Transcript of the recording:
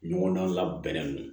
Ɲɔgɔndan labɛn min